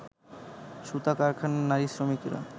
সুতা কারখানার নারী শ্রমিকরা